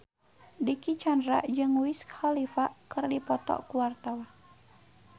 Dicky Chandra jeung Wiz Khalifa keur dipoto ku wartawan